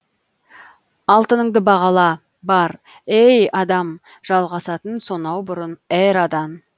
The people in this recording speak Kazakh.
алтыныңды бағала бар ей адам жалғасатын сонау бұрын эрадан